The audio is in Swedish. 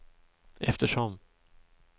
eftersom